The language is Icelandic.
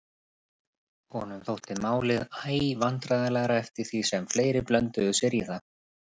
Honum þótti málið æ vandræðalegra eftir því sem fleiri blönduðu sér í það.